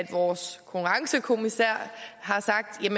vores konkurrencekommissær har sagt